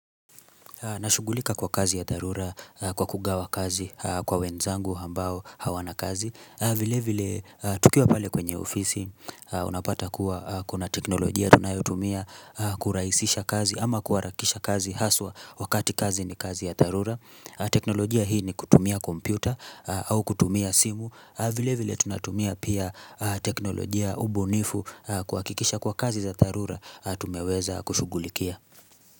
Nashughulika kwa kazi ya dharura kwa kugawa kazi kwa wenzangu ambao hawana kazi vile vile tukiwa pale kwenye ofisi unapata kuwa kuna teknolojia tunayotumia kurahisisha kazi ama kuharakisha kazi haswa wakati kazi ni kazi ya dharura teknolojia hii ni kutumia kompyuta au kutumia simu vile vile tunatumia pia teknolojia ubunifu kuhakikisha kuwa kazi za dharura tumeweza kushugulikia.